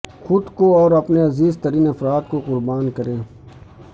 خود کو اور اپنے عزیز ترین افراد کو قربان کرے